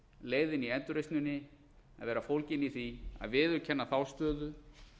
leiðin í endurreisninni að vera fólgin í því að viðurkenna þá stöðu